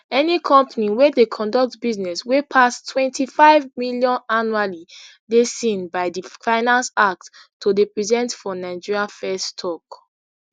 any company wey dey conduct business wey pass ntwenty-five million annually dey seen by di finance act to dey present for nigeria firs tok